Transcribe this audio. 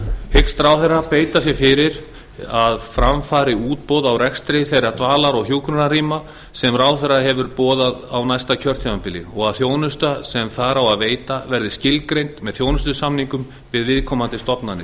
hyggst ráðherra beita sér fyrir því að fram fari útboð á rekstri þeirra dvalar og hjúkrunarrýma sem ráðherra hefur boðað á næsta kjörtímabili og að þjónusta sem þar á að veita verði skilgreind með þjónustusamningum við viðkomandi stofnanir